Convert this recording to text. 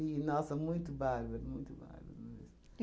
nossa, muito bárbaro, muito bárbaro mesmo.